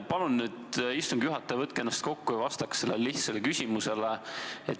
Palun, istungi juhataja, võtke ennast kokku ja vastake sellele lihtsale küsimusele.